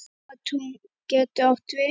Nóatún getur átt við